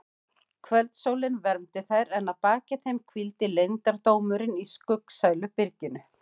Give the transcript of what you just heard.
Kvöldsólin vermdi þær en að baki þeim hvíldi leyndardómurinn í skuggsælu byrginu.